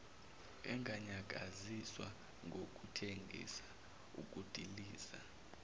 enganyakaziswa ngokuthengisa ukudiliza